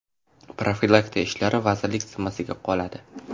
Profilaktika ishlari vazirlik zimmasida qoladi.